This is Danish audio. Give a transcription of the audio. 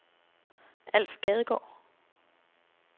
Alf Gadegaard